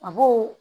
A b'o